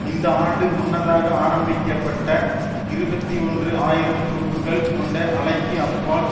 இந்த ஆண்டு முன்னதாக ஆரம்பிக்க பட்ட இருபத்தி ஒன்று ஆயிரம் துருப்புகள் கொண்ட அலைக்கு அப்பால்